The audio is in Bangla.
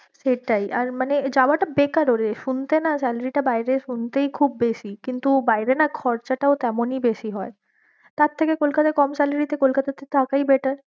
সেটাই আর মানে যাওয়াটা বেকারও রে শুনতে না salary টা বাইরের শুনতেই খুব বেশি কিন্তু বাইরে না খরচাটাও তেমনই বেশি হয়ে, তার থেকে কলকাতায় কম salary তে কোলকাতাতে থাকাই better